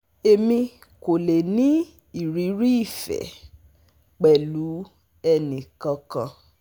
Emi ko le ni iriri ife pelu eni kan kan